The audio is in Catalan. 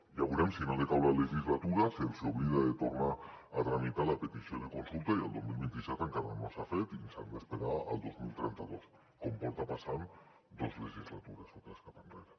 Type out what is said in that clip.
ja veurem si no decau la legislatura si se’ls hi oblida de tornar a tramitar la petició de consulta i el dos mil vint set encara no s’ha fet i s’han d’esperar al dos mil trenta dos com porta passant dues legislatures o tres cap enrere